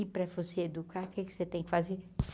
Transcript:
E para você educar, o que é que você tem que fazer?